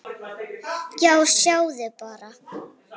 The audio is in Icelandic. Já, sjáðu bara!